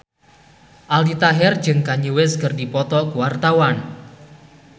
Aldi Taher jeung Kanye West keur dipoto ku wartawan